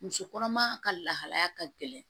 Muso kɔnɔma ka lahalaya ka gɛlɛn